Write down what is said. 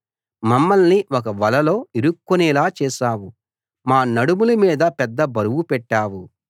మమ్మల్ని ఒక వలలో ఇరుక్కునేలా చేశావు మా నడుముల మీద పెద్ద బరువు పెట్టావు